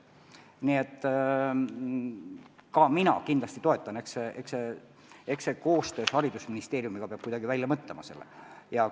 Nii et ka mina seda kindlasti toetan ja eks koostöös haridusministeeriumiga peab lahenduse välja mõtlema.